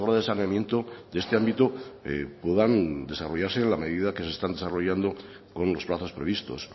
de saneamiento de este ámbito puedan desarrollarse en la medida que se están desarrollando con los plazos previstos